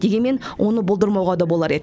дегенмен оны болдырмауға да болар еді